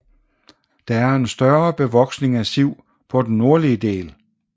Der er en større bevoksning af siv på den nordlige del